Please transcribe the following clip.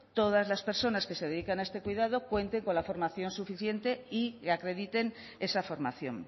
todas las personas que se dedican a este cuidado cuenten con la formación suficiente y acrediten esa formación